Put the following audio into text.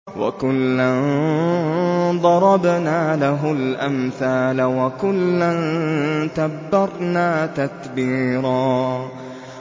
وَكُلًّا ضَرَبْنَا لَهُ الْأَمْثَالَ ۖ وَكُلًّا تَبَّرْنَا تَتْبِيرًا